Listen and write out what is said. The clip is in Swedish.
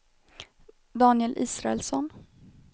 Daniel Israelsson